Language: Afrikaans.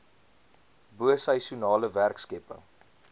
bo seisoenale werkskepping